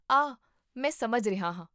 ਆਹ, ਮੈਂ ਸਮਝ ਰਿਹਾ ਹਾਂ